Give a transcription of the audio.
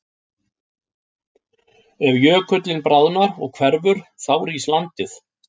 Ef jökullinn bráðnar og hverfur þá rís landið.